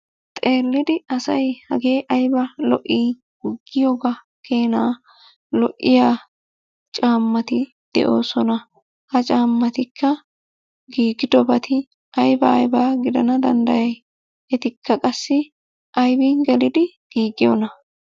Xeellidi asay hagee ayiba lo'ii! Giyogaa keenaa lo'iya caammati de'oosona. Ha caammatikka giigidobati ayibaa ayibaa gidana danddayi? Etikka qassi ayibin gelidi giigiyonaa?